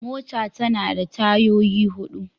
Mota tana da tayoyi hudu.